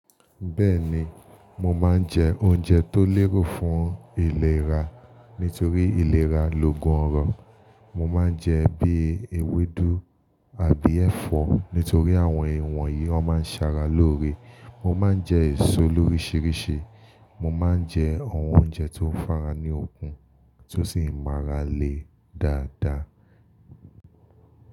Bẹ́ẹ̀ni, mo máa ń jẹ oúnjẹ tó lérò fún ìlera nítorí ìlera loògùn ọrọ. Mo máa ń jẹ bíi ewédú àbí ẹ̀fọ́ nítorí àwọn ìwọ̀n yìí wón máa ń ṣara lóore. Mo máa ń jẹ èso lórísìírísìí, mo máa ń jẹ àwọn oúnjẹ tó fá'ra ní okun tó sì máa ra lè dáadáa.